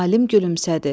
Alim gülümsədi.